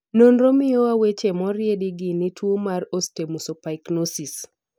nonro miyowa weche moriedi gi ne tuo mar Osteomesopyknosis.